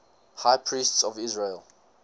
high priests of israel